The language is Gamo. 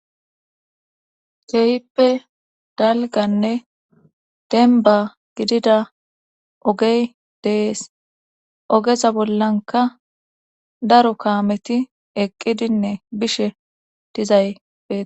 keeyippe dalganne denba gidida ogey dees ogeza bollanka daro kaameti eqqidinne bishe dizay betes